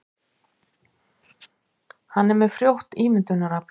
Hann er með frjótt ímyndunarafl.